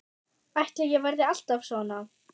Ætli ég verði alltaf svona?